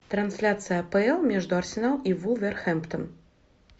трансляция апл между арсенал и вулверхэмптон